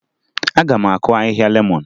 Aga m akụ ahịhịa lemọn